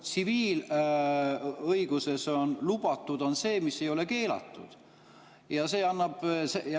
Tsiviilõiguses on lubatud see, mis ei ole keelatud.